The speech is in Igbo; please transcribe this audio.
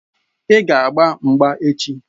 Ị ga-agba mgba echi!